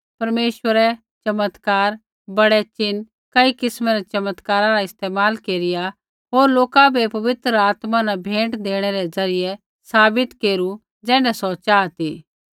परमेश्वरै चमत्कार बड़ै नशाण कई किस्मै रै चमत्कार रा इस्तेमाल केरिया होर लोका बै पवित्र आत्मा न भेंट देणै रै ज़रियै साबित केरू ज़ैण्ढै सौ चाहा ती